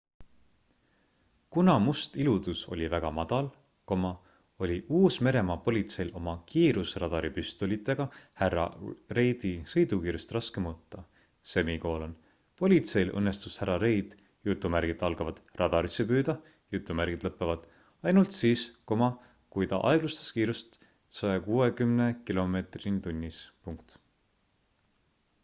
kuna must iludus oli väga madal oli uus-meremaa politseil oma kiirusradaripüstolitega härra reidi sõidukiirust raske mõõta politseil õnnestus härra reid radarisse püüda ainult siis kui ta aeglustas kiirust 160 km/h